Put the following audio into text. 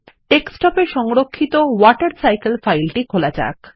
desktop এ সংরক্ষিত water cycle ফাইলটি খোলা যাক